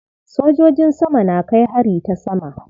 Sojojin sama na kai hari ta sama.